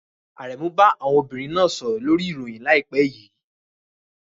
Aremu bá àwọn obìnrin náà sọ̀rọ̀ lórí ìròyìn láìpẹ́ yìí.